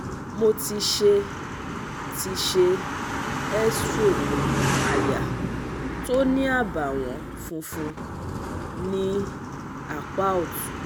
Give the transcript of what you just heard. Mo ti ṣe ti ṣe x-ray aya tó ní àbàwon funfun ní apá ọ̀tún